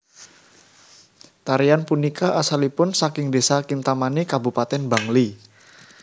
Tarian punika asalipun saking Desa Kintamani Kabupaten Bangli